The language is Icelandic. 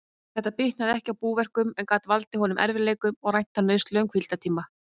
Þetta bitnaði ekki á búverkum, en gat valdið honum erfiðleikum og rænt hann nauðsynlegum hvíldartíma.